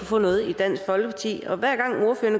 få noget i dansk folkeparti og hver gang